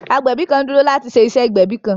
Agbẹbi kan n duro lati ṣe iṣe igbẹbi kan.